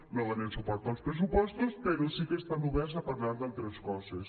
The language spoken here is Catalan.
no donen suport als pressupostos però sí que estan oberts a parlar d’altres coses